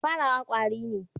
Farawa kwari ne.